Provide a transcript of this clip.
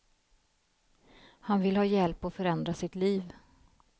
Han vill ha hjälp att förändra sitt liv.